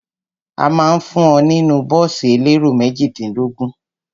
A ma ń fún ọ nínú bọ́ọ̀sì elérò méjìdínlógún.